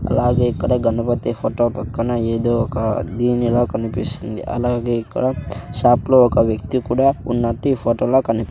అలాగే ఇక్కడ గణపతి ఫొటో పక్కన ఎదో ఒక దీనిలా కనిపిస్తుంది అలాగే ఇక్కడ షాప్ లో ఒక వ్యక్తి కూడా ఉన్నట్టి ఈ ఫొటోలో కని--